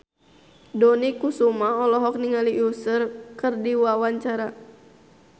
Dony Kesuma olohok ningali Usher keur diwawancara